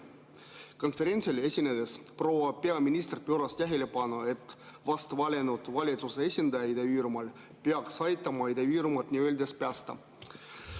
Konverentsil esinedes pööras proua peaminister tähelepanu sellele, et vast valitud valitsuse esindaja Ida-Virumaal peaks aitama Ida-Virumaad nii-öelda päästa.